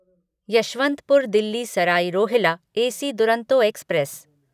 Yesvantpur Delhi Sarai Rohilla AC Duronto express